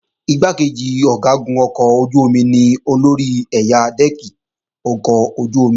Igbákejì Ọ̀gágun ọkọ̀ ojú-omi ni olórí ẹ̀yà dẹ́ẹ̀kì ọkọ̀ ojú-omi